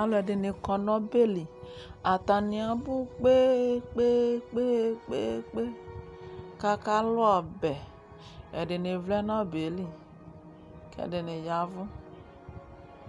Alʋɛdɩnɩ kɔ nʋ ɔbɛ li Atanɩ abʋ kpe-kpe-kpe kʋ akalʋ ɔbɛ Ɛdɩnɩ vlɛ nʋ ɔbɛ yɛ li kʋ ɛdɩnɩ ya ɛvʋ